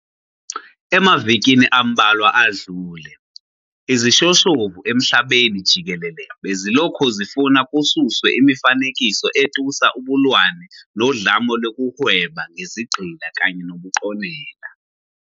Emavikini ambalwa adlule, izishoshovu emhlabeni jikelele bezilokhu zifuna kususwe imifanekiso etusa ubulwane nodlame lokuhweba ngezigqila kanye nobuqonela.